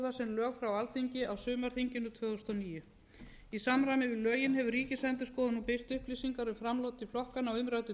lög frá alþingi á sumarþinginu tvö þúsund og níu í samræmi við lögin hefur ríkisendurskoðun nú birt upplýsingar um framlög til flokkanna á umræddu